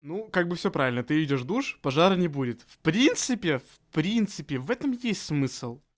ну как бы всё правильно ты идёшь душ пожара не будет в принципе в принципе в этом есть смысл